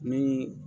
Ni